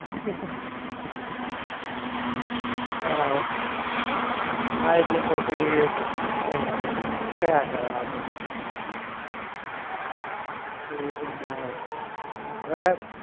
બરાબર હા એટલે કોઈ થી કઈ વાંધો નહીં થયા કરો આતો એતો બધા અવે આ